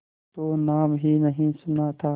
तो नाम ही नहीं सुना था